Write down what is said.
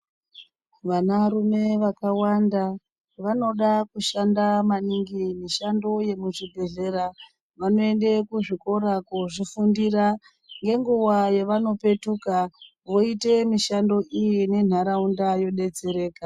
Vanarume vakawanda vanoda kushanda maningi mushando yemuzvibhedhlera. Vanoende kuzvikora kozvifundira , ngenguwa yavanopetuka voita mishando iyi nentaraunda yobetsereka .